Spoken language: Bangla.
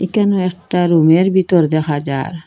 একানেও একটা রুমের বিতর দেখা যার।